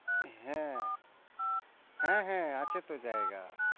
হ্যাঁ হ্যাঁ, হ্যাঁ আছে তো জায়গা।